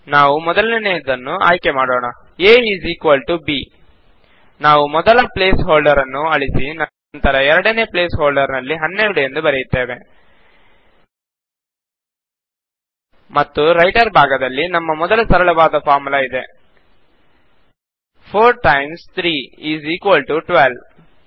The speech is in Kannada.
ನಾವು ಮೊದಲನೆಯದನ್ನು ಆಯ್ಕೆ ಮಾಡೋಣ a is equal to b ನಾವು ಮೊದಲ ಪ್ಲೇಸ್ ಹೋಲ್ಡರ್ ಅನ್ನು ಅಳಿಸಿ ನಂತರ ಎರಡನೇ ಪ್ಲೇಸ್ ಹೋಲ್ಡರ್ ಅಲ್ಲಿ 12 ಎಂದು ಬರೆಯುತ್ತೇವೆ ಮತ್ತು ರೈಟರ್ ಜಾಗದಲ್ಲಿ ನಮ್ಮ ಮೊದಲ ಸರಳವಾದ ಫಾರ್ಮುಲಾ ಇದೆ160 4 ಟೈಮ್ಸ್ 3 ಇಸ್ ಇಕ್ವಾಲ್ ಟಿಒ 12